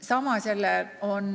Samas on